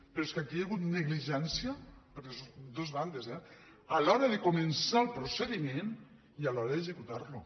però és que aquí hi ha hagut negligència per les dos bandes eh a l’hora de començar el procediment i a l’hora d’executar lo